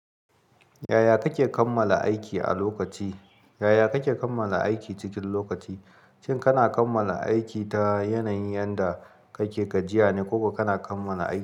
Yaya kake kammala aiki a lokaci? Yaya kake kammala aiki cikin lokaci? Shin kana kammala aiki ta yanayin yanda kake gajiya ne ko ka kana kammala aiki.